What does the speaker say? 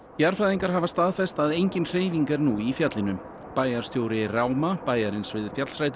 jarðfræðingar hafa staðfest að engin hreyfing er nú í fjallinu bæjarstjóri bæjarins við